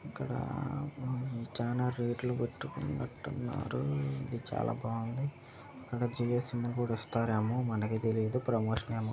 ఇక్కడ చాలా రేట్ లు పెట్టుకున్నట్టున్నారు ఇది చాలా బావుంది ఒక జియో సిమ్ కూడా ఇస్తారేమో మనకి తెలీదు ప్రమోషన్ ఏమో.